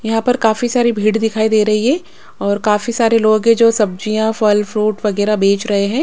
यहां पर काफी सारी भीड़ दिखाई दे रही है और काफी सारे लोग हैं जो सब्जियां फल फ्रूट वगैरह बेच रहे हैं।